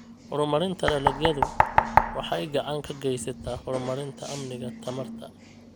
Horumarinta dalagyadu waxay gacan ka geysataa horumarinta amniga tamarta.